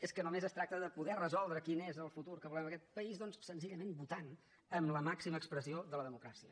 és que només es tracta de poder resoldre quin és el futur que volem en aquest país doncs senzillament votant amb la màxima expressió de la democràcia